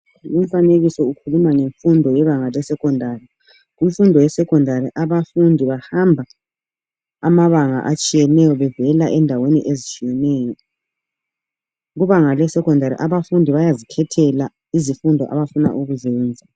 Lumfanekiso ukhuluma ngemfundo yebanga lesecondary. Kumfundo yesecondary abafundi bahamba amabanga atshiyeneyo bevel endaweni ezitshiyeneyo. Kubanga lesecondary abafundi bayazikhathela izifundo abafuna ukuzenza.